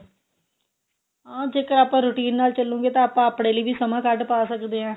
ਹਾਂ ਜੇਕਰ ਆਪਾਂ routine ਨਾਲ ਚੱਲੋਗੇ ਤਾਂ ਆਪਾਂ ਆਪਣੇ ਲਈ ਵੀ ਸਮਾਂ ਕੱਢ ਪਾ ਸਕਦੇ ਆਂ